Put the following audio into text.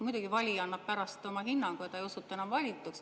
Muidugi, valija annab pärast oma hinnangu ja ta ei osutu enam valituks.